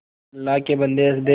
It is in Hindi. अल्लाह के बन्दे हंस दे